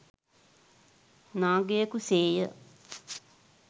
නාගයකු සේ ය.